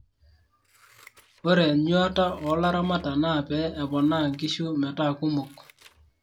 ore enyuata o laramatak naa pee eponaa inkishu metaa kumok